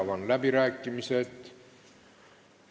Avan läbirääkimised.